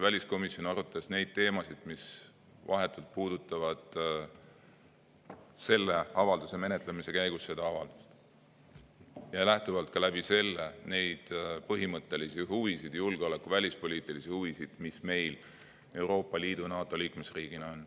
Väliskomisjon arutas neid teemasid, mis selle avalduse menetlemise käigus puudutasid seda avaldust ja sellest lähtuvalt põhimõttelisi julgeoleku‑ ja välispoliitilisi huvisid, mis meil Euroopa Liidu ja NATO liikmesriigina on.